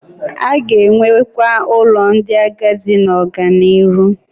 A ga-enwekwu ụlọ ndị agadi n'obianihu